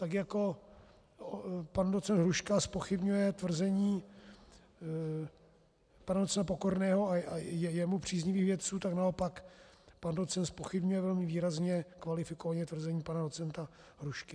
Tak jako pan docent Hruška zpochybňuje tvrzení pana docenta Pokorného a jemu příznivých vědců, tak naopak pan docent zpochybňuje velmi výrazně, kvalifikovaně tvrzení pana docenta Hrušky.